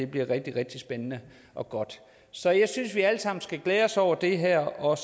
bliver rigtig rigtig spændende og godt så jeg synes at vi alle sammen skal glæde os over det her og